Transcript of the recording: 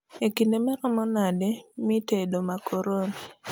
e kinde marom made miitedo makoroni